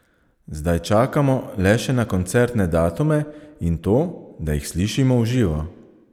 Zdaj čakamo le še na koncertne datume in to, da jih slišimo v živo!